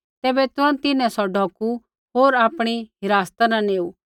तैबै तुरन्त तिन्हैं सौ ढौकू होर आपणी हिरासता न लेऊ